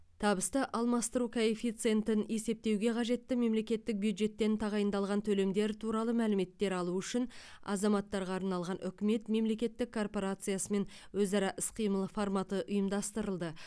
табысты алмастыру коэффициентін есептеуге қажетті мемлекеттік бюджеттен тағайындалған төлемдер туралы мәліметтер алу үшін азаматтарға арналған үкімет мемлекеттік корпорациясымен өзара іс қимыл форматы ұйымдастырылды